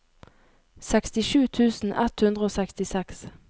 sekstisju tusen ett hundre og sekstiseks